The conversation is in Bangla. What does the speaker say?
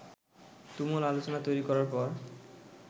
তুমুল আলোচনা তৈরি করার পর